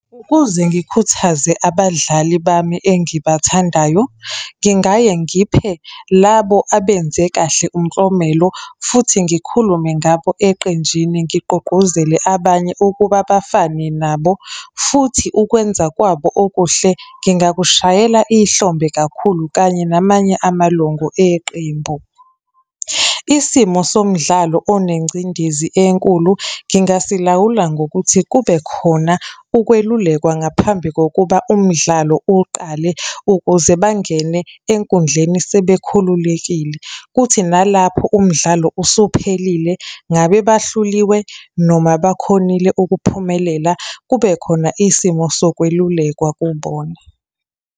Ukuze ngikhuthaze abadlali bami engibathandayo, ngingaye ngiphe labo abenze kahle umklomelo, futhi ngikhulume ngabo eqenjini ngigqugquzele abanye ukuba bafane nabo. Futhi ukwenza kwabo okuhle ngingakushayela ihlombe kakhulu kanye namanye amalungu eqembu. Isimo somdlalo onengcindezi enkulu ngingasilawula ngokuthi kube khona ukwelulekwa ngaphambi kokuba umdlalo uqale, ukuze bangene enkundleni sebekhululekile. Kuthi nalapho umdlalo usuphelile, ngabe bahluliwe, noma bakhonile ukuphumelela, kube khona isimo sokwelulekwa kubona.